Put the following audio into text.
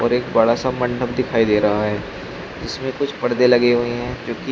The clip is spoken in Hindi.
और एक बड़ा सा मंडप दिखाई दे रहा है जिसमें कुछ परदे लगे हुए हैं जो कि --